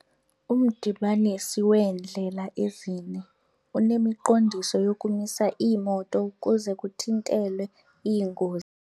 Umdibaniso weendlela ezine unemiqondiso yokumisa iimoto ukuze kuthintelwe iingozi.